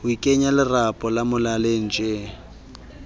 ho ikenya lerapo molaleng tjee